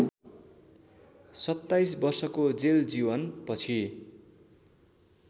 २७ वर्षको जेलजीवन पछि